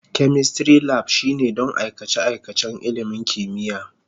Chemistry Lab shine don aikace-aikacen ilimin kimiyya.